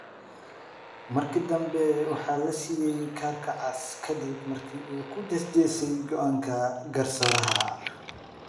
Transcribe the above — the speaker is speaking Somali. Markii dambe waxaa la siiyay kaarka cas kadib markii uu ku jees jeesay go’aanka garsooraha.